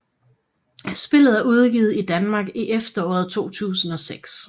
Spillet er udgivet i Danmark i efteråret 2006